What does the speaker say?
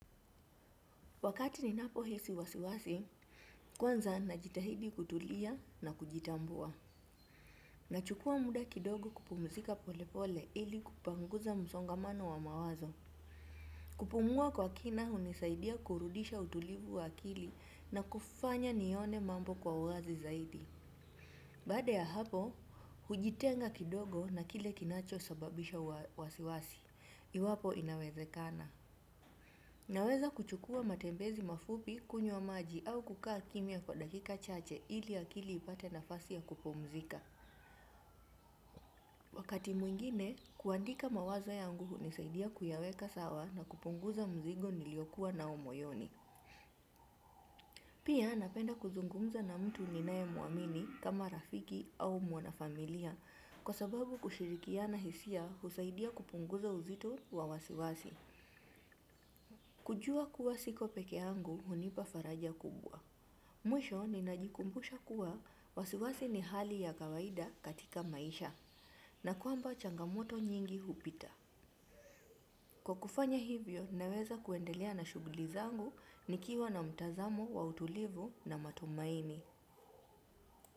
Wakati ninapo hisi wasiwasi, kwanza najitahidi kutulia na kujitambua. Nachukua muda kidogo kupumzika pole pole ili kupanguza msongamano wa mawazo. Kupumua kwa kina unisaidia kurudisha utulivu wa akili na kufanya nione mambo kwa wazi zaidi. Baada ya hapo, hujitenga kidogo na kile kinacho sababisha wasiwasi. Iwapo inawezekana. Naweza kuchukua matembezi mafupi kunywa maji au kukaa kimya kwa dakika chache ili akili ipate nafasi ya kupomzika. Wakati mwingine, kuandika mawazo yangu hunisaidia kuyaweka sawa na kuponguza mzigo niliokuwa nao moyoni. Pia napenda kuzungumza na mtu ninae muamini kama rafiki au mwanafamilia. Kwa sababu kushirikiana hisia husaidia kupunguza uzito wawasiwasi. Kujua kuwa siko peke yangu hunipa faraja kubwa. Mwisho ninajikumbusha kuwa wasiwasi ni hali ya kawaida katika maisha na kwamba changamoto nyingi hupita. Kwa kufanya hivyo naweza kuendelea na shuguli zangu nikiwa na mtazamo wa utulivu na matumaini.